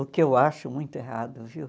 O que eu acho muito errado, viu?